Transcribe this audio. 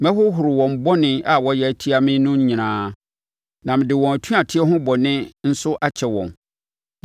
Mɛhohoro wɔn bɔne a wɔayɛ atia me no nyinaa, na mede wɔn atuateɛ ho bɔne nso akyɛ wɔn.